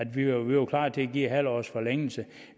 vi var klar til at give en halv års forlængelse